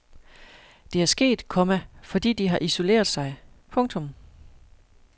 Det er sket, komma fordi de har isoleret sig. punktum